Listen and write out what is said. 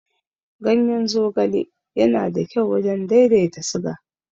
Ganyen zogale yana da kyau wajen daidaita siga.